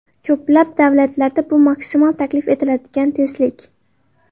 Ko‘plab davlatlarda bu maksimal taklif etiladigan tezlik.